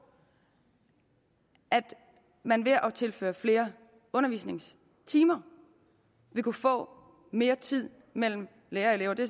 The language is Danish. at man ved at tilføre flere undervisningstimer vil kunne få mere tid mellem lærer og elever det